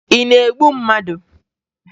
Ị na-egbu mmadụ?